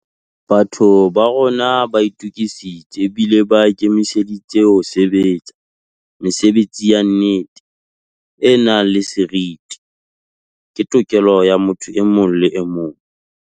Batho ba rona ba itukisitse ebile ba ikemiseditse ho sebe tsa. Mesebetsi ya nnete, e nang le seriti, ke tokelo ya motho e mong le emong.